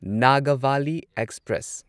Nagavali express